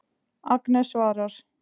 Agnes svarar.